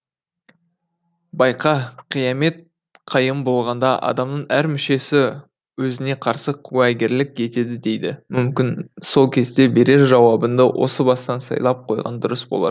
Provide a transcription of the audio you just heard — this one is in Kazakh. байқа қиямет қайым болғанда адамның әр мүшесі өзіне қарсы куәгерлік етеді дейді мүмкін сол кезде берер жауабыңды осы бастан сайлап қойғаның дұрыс болар